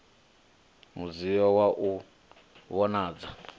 mudzio wa u no vhonadza